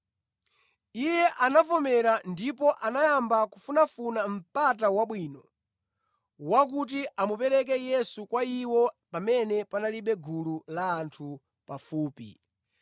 Iye anavomera, ndipo anayamba kufunafuna mpata wabwino wakuti amupereke Yesu kwa iwo pamene panalibe gulu la anthu pafupi.